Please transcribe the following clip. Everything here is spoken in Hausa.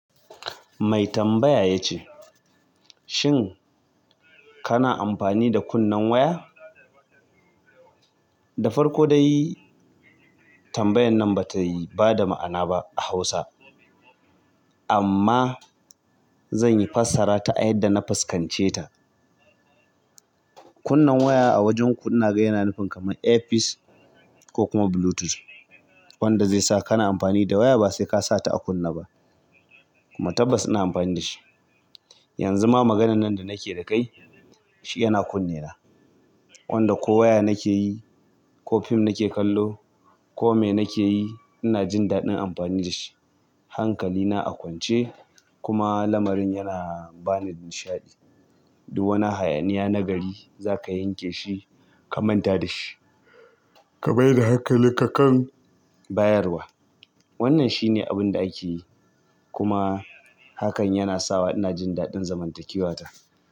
Mai tambaya ya ce, "Shin kana amfani da kunnen waya?" Da farko dai tambayan nan bata yi bada ma'ana ba a Hausa amma zan yi fassara ta a yadda na fuskance ta. Kunnen waya a wajen ku yana nufin kamar airpiece ko kuma bluetooth wanda zai sa kana amfani da waya basai ka sa ta a kunna ba kuma tabbas ina amfani da shi. Yanzu ma maganan nan da nake da kai shi yana kunne na wanda ko waya nake yi ko fim nake kallo ko mene nake yi ina jin daɗin amfani da shi. Hankalina a kwance kuma lamarin yana bani nishaɗi. Duk wani hayaniya nagari za ka yanke shi ka manta da shi ka mai da hankali ka kan bayarwa. Wannan shine abinda akeyi kuma hakan yana sawa ina jin daɗin zamantakewa ta.